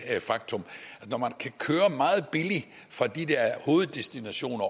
faktum at når man kan køre meget billigt fra de der hoveddestinationer